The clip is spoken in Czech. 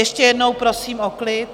Ještě jednou prosím o klid.